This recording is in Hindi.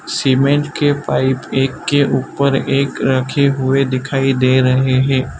सीमेंट के पाइप एक के ऊपर एक रखे हुए दिखाई दे रहें हैं।